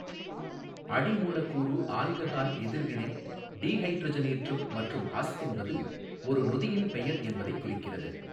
அடி மூலக்கூறு ஆல்கஹால் எதிர்வினை டீஹைட்ரஜனேற்றம் மற்றும் அஸ் என்பது ஒரு நொதியின் பெயர் என்பதைக் குறிக்கிறது.